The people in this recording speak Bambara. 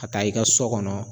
Ka taa i ka sɔ kɔnɔ